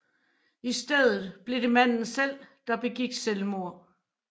I stedet blev det manden selv der begik selvmord